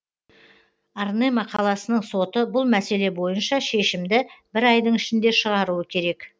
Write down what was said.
арнема қаласының соты бұл мәселе бойынша шешімді бір айдың ішінде шығаруы керек